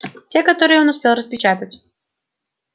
те которые он успел распечатать